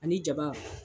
Ani jaba